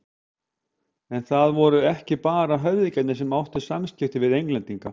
En það voru ekki bara höfðingjarnir sem áttu samskipti við Englendinga.